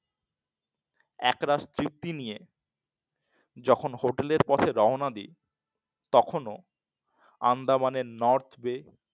একরাশ তৃপ্তি নিয়ে যখন হোটেলের পথে রওনা দিই তখনও আন্দামানের নর্থ বে